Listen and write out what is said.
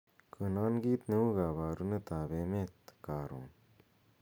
konon kiit neu koborunet ab emet korun